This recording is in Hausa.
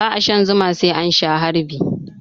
Ba a shan Zuma sai an Sha harbi.